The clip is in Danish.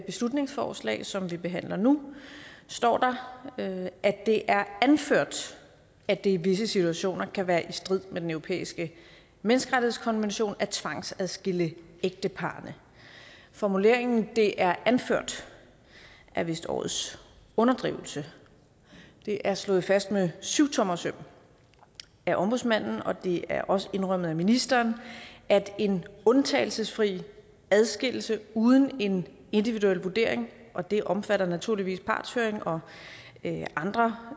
beslutningsforslag som vi behandler nu står der at det er anført at det i visse situationer kan være i strid med den europæiske menneskerettighedskonvention at tvangsadskille ægtepar formuleringen det er anført er vist årets underdrivelse det er slået fast med syvtommersøm af ombudsmanden og det er også indrømmet af ministeren at en undtagelsesfri adskillelse uden en individuel vurdering og det omfatter naturligvis partshøring og andre